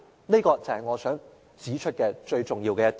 主席，這就是我想指出最重要的一點。